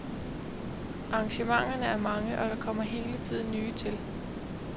Arrangementerne er mange, og der kommer hele tiden nye til.